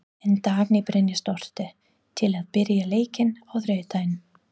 Er Dagný Brynjarsdóttir til í að byrja leikinn á þriðjudag?